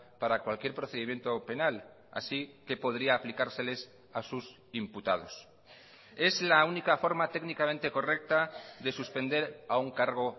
para cualquier procedimiento penal así que podría aplicárseles a sus imputados es la única forma técnicamente correcta de suspender a un cargo